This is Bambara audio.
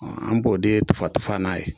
Ɔ an b'o den tufan tufan n'a ye